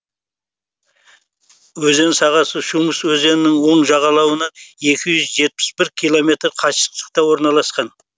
өзен сағасы чумыш өзенінің оң жағалауынан екі жүз жетпіс бір километр қашықтықта орналасқан